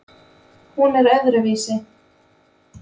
Hún er öðruvísi.